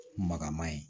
Magama ye